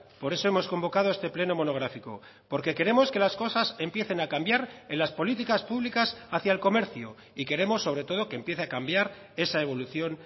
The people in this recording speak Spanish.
por eso hemos convocado este pleno monográfico porque queremos que las cosas empiecen a cambiar en las políticas públicas hacia el comercio y queremos sobre todo que empiece a cambiar esa evolución